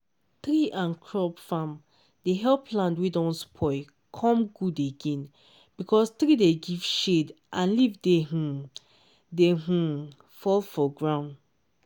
tree and crop farm dey help land wey don spoil come good again because tree dey give shade and leaf dey um dey um fall for ground.